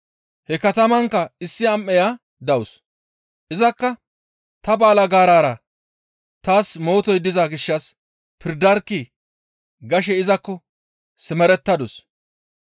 He katamankka issi am7eya dawus. Izakka, ‹Ta balgaarara taas mootoy diza gishshas pirdarkkii!› gashe izakko simerettadus.